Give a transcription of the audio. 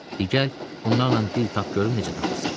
Di gəl, bunlarla dil tap görüm necə tapırsan.